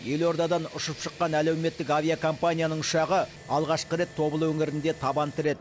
елордадан ұшып шыққан әлеуметтік авиакомпанияның ұшағы алғашқы рет тобыл өңірінде табан тіреді